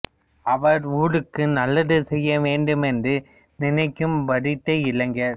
அவர் ஊருக்கு நல்லது செய்ய வேண்டும் என்று நினைக்கும் படித்த இளைஞர்